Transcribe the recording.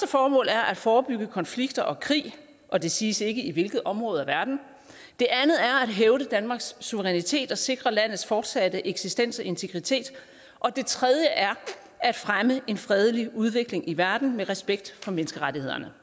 formål er at forebygge konflikter og krig og det siges ikke i hvilke områder af verden det andet er at hævde danmarks suverænitet og sikre landets fortsatte eksistens og integritet og det tredje er at fremme en fredelig udvikling i verden med respekt for menneskerettighederne